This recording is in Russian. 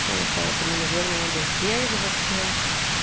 поэтому наверно надо сдерживаться